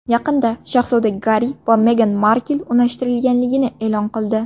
Yaqinda shahzoda Garri va Megan Markl unashtirilganini e’lon qildi.